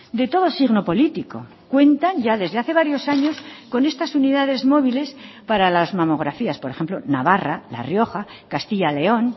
de todo signo político cuentan ya desde hace varios años con estas unidades móviles para las mamografías por ejemplo navarra la rioja castilla león